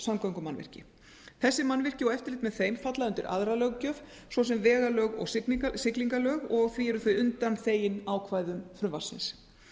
samgöngumannvirki þessi mannvirki og eftirlit með þeim falla undir aðra löggjöf svo sem vegalög og siglingalög og því eru þau undanþegin ákvæðum frumvarpsins